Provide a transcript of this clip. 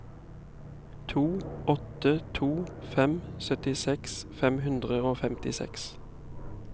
to åtte to fem syttiseks fem hundre og femtiseks